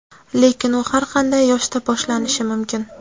Lekin u har qanday yoshda boshlanishi mumkin.